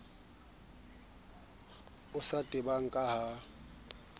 o sa tebang ka ha